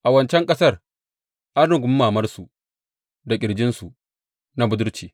A wancan ƙasar an rungumi mamansu da ƙirjinsu na budurwanci.